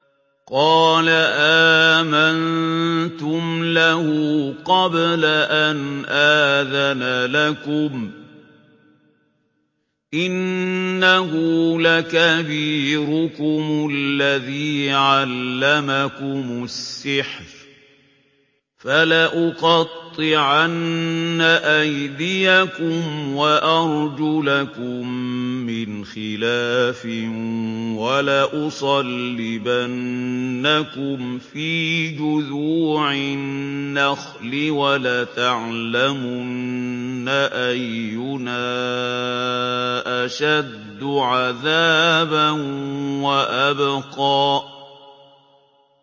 قَالَ آمَنتُمْ لَهُ قَبْلَ أَنْ آذَنَ لَكُمْ ۖ إِنَّهُ لَكَبِيرُكُمُ الَّذِي عَلَّمَكُمُ السِّحْرَ ۖ فَلَأُقَطِّعَنَّ أَيْدِيَكُمْ وَأَرْجُلَكُم مِّنْ خِلَافٍ وَلَأُصَلِّبَنَّكُمْ فِي جُذُوعِ النَّخْلِ وَلَتَعْلَمُنَّ أَيُّنَا أَشَدُّ عَذَابًا وَأَبْقَىٰ